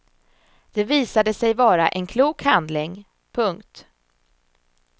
Det visade sig vara en klok handling. punkt